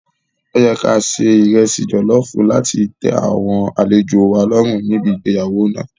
Ó yẹ ká ṣe ìresì jọ̀lọ́ọ̀fù láti tẹ àwọn àlejòo wa lọ́rùn níbi igbéyàwó náà.